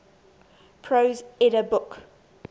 prose edda book